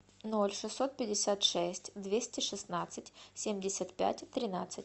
ноль шестьсот пятьдесят шесть двести шестнадцать семьдесят пять тринадцать